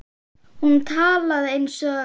Hún talaði eins og